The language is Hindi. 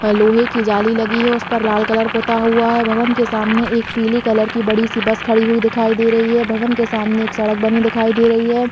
और लोहे की जाली लगी है उसपर लाल कलर पोता हुआ है भवन के सामने एक पीली कलर की बड़ी -सी बस खड़ी हुई दिखाई दे रही है भवन के सामने एक सड़क बनी दिखाई दे रही हैं। .